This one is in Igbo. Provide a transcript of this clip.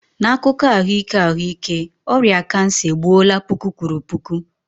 N'akụkọ ahụike ahụike, ọrịa kansa egbuola puku kwuru puku.